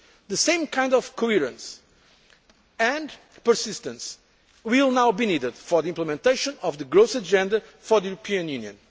agreements. The same kind of coherence and persistence will now be needed for implementation of the growth agenda for the European